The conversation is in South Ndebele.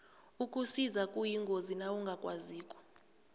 ukusisa kuyingozi nawungakwaziko